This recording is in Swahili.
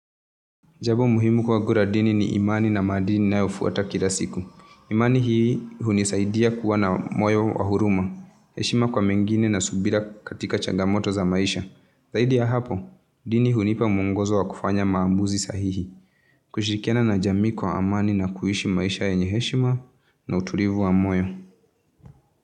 Jabo muhimu kwagu ra dini ni imani na maadini ninayofuata kila siku. Imani hii hunisaidia kuwa na moyo wa huruma. Heshima kwa mengine na subira katika changamoto za maisha. Zaidi ya hapo, dini huniipa mwongozo wa kufanya maambuzi sahihi. Kushirikiana na jamii kwa amani na kuishi maisha yenye heshima na uturivu wa moyo.